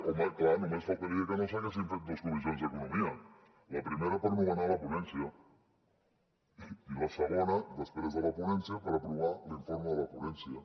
home clar només faltaria que no s’haguessin fet dos comissions d’economia la primera per nomenar la ponència i la segona després de la ponència per aprovar l’informe de la ponència